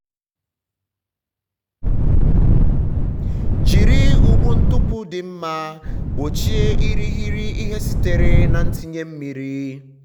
jiri ụgbụ ntupu dị mma gbochie irighiri ihe sitere na ntinye mmiri.